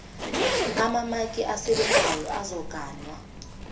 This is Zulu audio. amamaki asebenzayo azogaywa